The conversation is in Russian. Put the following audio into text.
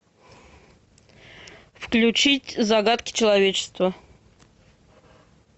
включить загадки человечества